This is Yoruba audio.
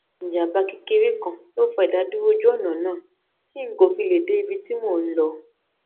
ìjàǹbá kékeré kan ló fà idaduro oju ona náà ti n ko fi le de ibi ti mo n lo